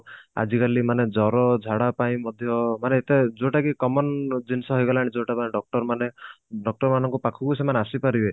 ଆଜିକାଲି ଜର ଝାଡା ପାଇଁ ମଧ୍ୟ ମାନେ କଣ ଯୋଉଟା କି common ଜିନିଷ ହେଇଗଲାଣି ଯୋଉଟା କି doctor ମାନେ doctor ମାନଙ୍କ ପାଖକୁ ସେମାନେ ଆସି ପାରିବେ